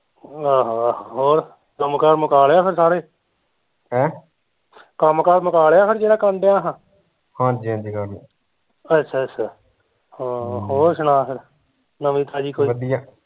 ਆਹੋ ਆਹੋ, ਹੋਰ ਕੰਮ ਕਾਰ ਮੁਕਾ ਲਏ ਆ ਫਿਰ ਸਾਰੇ ਕੰਮ ਕਾਰ ਮੁਕਾ ਲਿਆ ਫਿਰ ਜਿਹੜਾ ਕਰਨ ਡਿਆ ਸਾ ਅੱਛਾ ਅੱਛਾ ਹਮ ਹੋਰ ਸੁਣਾ ਫਿਰ ਨਵੀ ਤਾਜ਼ੀ ਕੋਈ